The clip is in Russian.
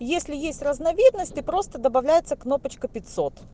если есть разновидности просто добавляется кнопочка пятьсот